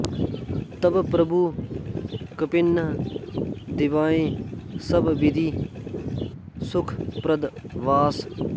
तब प्रभु कपिन्ह दिवाए सब बिधि सुखप्रद बास